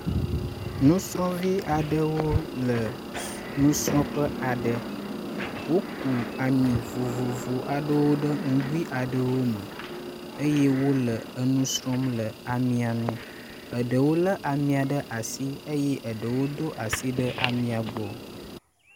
Nusrɔvi aɖewo le nusrɔƒe aɖe, wóku amì vovovo aɖewo ɖe ŋugui aɖewo me eye wóle nusrɔm le amiaŋu , eɖewo le amiaɖe asi eye eɖewo do asi ɖe amia gbɔ